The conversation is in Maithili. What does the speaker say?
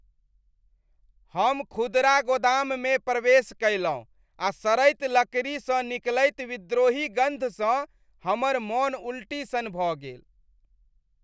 हम खुदरा गोदाममे प्रवेश कयलहुँ आ सड़ैत लकड़ीसँ निकलैत विद्रोही गन्धसँ हमर मन उल्टी सन भऽ गेल।